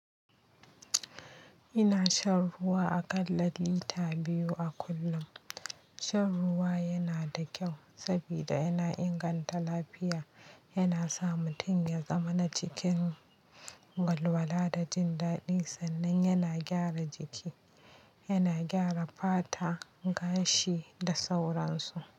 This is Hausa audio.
Ina shan ruwa akalla lita biyu a kullum. Shan ruwa yana da kyau saboda yana inganta lafiya, yana sa mutum ya zamana cikin walwala da jindaɗi sannan yana gyara jiki. Yana gyara fata, gashi da sauransu.